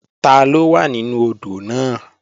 Taló wà nínú odò náà?